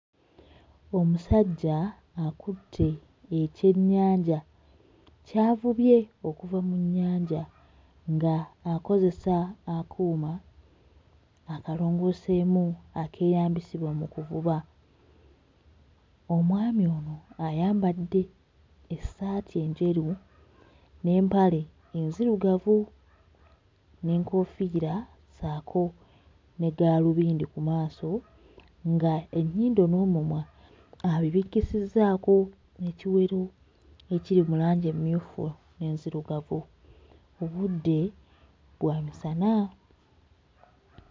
Omusajja akutte ekyennyanja ky'avubye okuva mu nnyanja ng'akozesa akuuma akalongooseemu akeeyambisibwa mu kuvuba. Omwami ono ayambadde essaati enjeru n'empale enzirugavu n'ekoofiira ssaako ne gaalubindi ku maaso, ng'ennyindo n'omumwa abibikkisizzaako ekiwero ekiri mu langi emmyufu n'enzirugavu; obudde bwa misana.